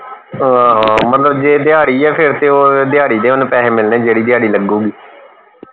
ਹਾਂ ਹਾਂ ਮਤਲਬ ਜੇ ਦਿਹਾੜੀ ਫੇਰ ਤੇ ਉਹ ਦਿਹਾੜੀ ਦੇ ਓੰਨੇ ਪੈਸੇ ਮਿਲਨੇ ਜਿਹੜੀ ਦਿਹਾੜੀ ਲੱਗੂਗੀ